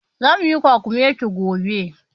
Zamu yi kwakumeti gobe.